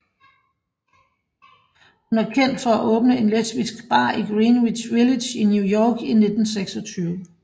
Hun er kendt for at åbne en lesbisk bar i Greenwich Village i New York i 1926